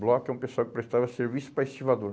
Bloco é um pessoal que prestava serviço para estivador.